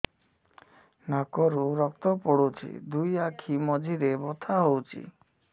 ନାକରୁ ରକ୍ତ ପଡୁଛି ଦୁଇ ଆଖି ମଝିରେ ବଥା ହଉଚି